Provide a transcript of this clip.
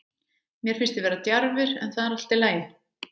Mér finnst þið vera djarfir, en það er allt í lagi.